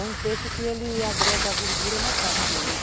É um peixe que ele agrega gordura na carne dele.